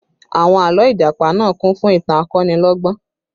Àwọn àlọ́ Ìjàpá náà kún fún ìtàn akonilọ́gbọ́n